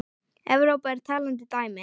Evrópa er talandi dæmi.